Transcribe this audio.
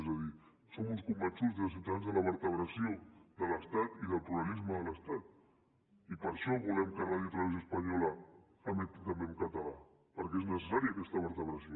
és a dir som uns convençuts des de ciutadans de la vertebració de l’estat i del pluralisme de l’estat i per això volem que radiotelevisió espanyola emeti també en català perquè és necessària aquesta vertebració